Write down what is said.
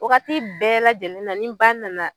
Wagati bɛɛ lajɛlen na ni ba nana